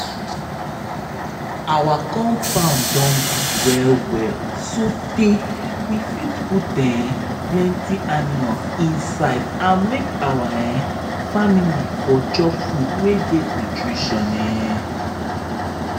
our compound don big well-well sotay we fit put um plenty animals inside make our um family for chop better food wey get nutrition. um